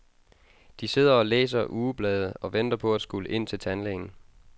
De sidder og læser ugeblade og venter på at skulle ind til tandlægen.